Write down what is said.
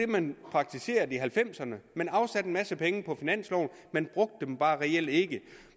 man praktiserede i nitten halvfemserne man afsatte en masse penge på finansloven man brugte dem bare reelt ikke